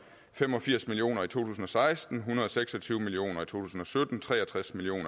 fem og firs million kroner i to tusind og seksten en hundrede og seks og tyve million to tusind og sytten tre og tres million